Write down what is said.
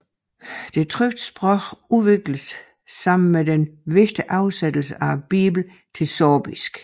Det trykte sprog udviklede sammen med den vigtige oversættelse af Bibelen til sorbisk